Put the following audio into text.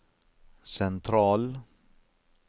sentral